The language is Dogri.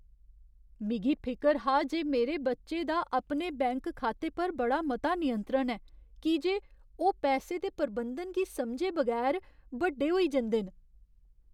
मिगी फिकर हा जे मेरे बच्चे दा अपने बैंक खाते पर बड़ा मता नियंत्रण ऐ की जे ओह् पैसे दे प्रबंधन गी समझे बगैर बड्डे होई जंदे न।